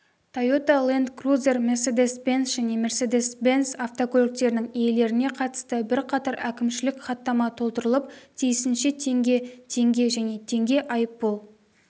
тойота ленд крузер мерседес бенц және мерседес бенц автокөліктерінің иелеріне қатысты бірқатар әкімшілік хаттама толтырылып тиісінше теңге теңге және теңге айыппұл